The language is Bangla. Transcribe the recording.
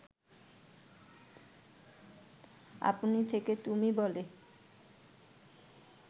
আপনি থেকে তুমি বলে